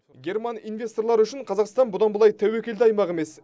герман инвесторлары үшін қазақстан бұдан былай тәуекелді аймақ емес